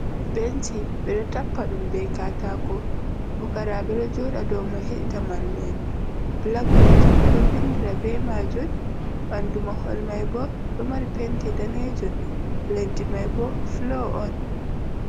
Benci, ɓe ɗo tappa ɗum be katako, fukaraɓe ɗo joɗa dou mai heɗita mallu’en. Blak bot ɓe ɗo vindira be maajun. Ɓandu mahol mai bo ɗo mari penti daneejun, leddi mai bo floo on.